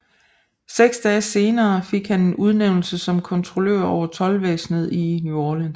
Seks dage senere fik han en udnævnelse som kontrollør over toldvæsenet i New Orleans